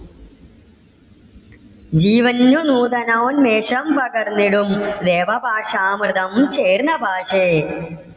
ജീവന്ന് നൂതനോന്മേഷം പകർന്നിടും ദേവഭാഷമൃതം ചേർന്ന ഭാഷേ.